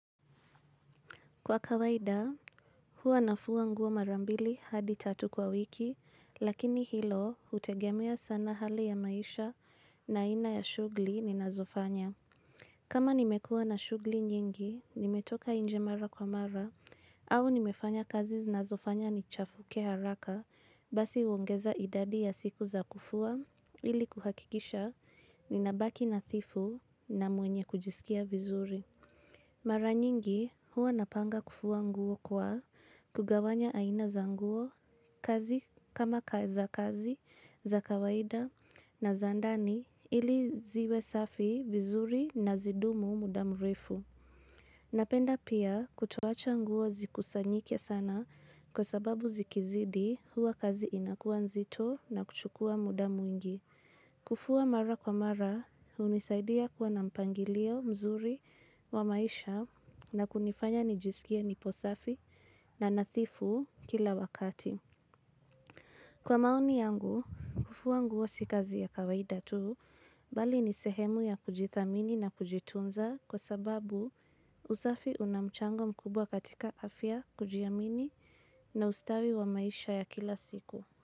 Kwa kawaida, huwa nafua nguo mara mbili hadi tatu kwa wiki, lakini hilo hutegemea sana hali ya maisha na aina ya shughuli ninazofanya. Kama nimekuwa na shughuli nyingi, nimetoka inje mara kwa mara, au nimefanya kazi zinazofanya nichafuke haraka, basi huongeza idadi ya siku za kufua, ili kuhakikisha ninabaki nathifu na mwenye kujisikia vizuri. Mara nyingi huwa napanga kufua nguo kwa kugawanya aina za nguo kazi kama za kazi za kawaida na za ndani ili ziwe safi vizuri na zidumu muda mrefu. Napenda pia kutowacha nguo zikusanyike sana kwa sababu zikizidi huwa kazi inakuwa nzito na kuchukua muda mwingi. Kufua mara kwa mara hunisaidia kuwa na mpangilio mzuri wa maisha na kunifanya nijisikie nipo safi na nathifu kila wakati. Kwa maoni yangu, kufua nguo si kazi ya kawaida tu, bali ni sehemu ya kujithamini na kujitunza kwa sababu usafi una mchango mkubwa katika afya, kujiamini na ustawi wa maisha ya kila siku.